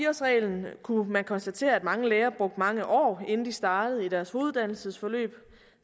årsreglen kunne man konstatere at mange læger brugte mange år inden de startede i deres hoveduddannelsesforløb